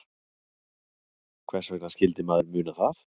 Hvers vegna skyldi maður muna það?